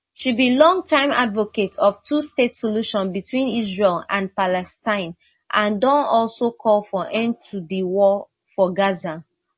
she be longtime advocate of twostate solution between israel and palestine and don also call for end to di war for gaza